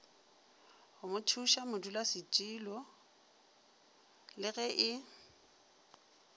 go mothušamodulasetulo le ge e